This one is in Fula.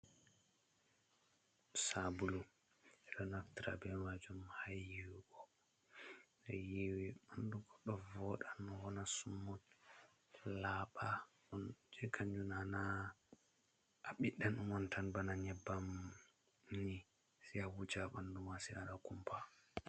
Sabulu ɓe ɗo naftira be majum ha yiwugo. Yiwe ɓandu goɗɗo voɗa wona smut, laɓa on je kanjum nana a ɓiɗɗa on tan bana nyebbam ni sai a wuja ha ɓandu ma sai waɗa kumpa.